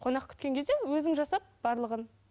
қонақ күткен кезде өзің жасап барлығын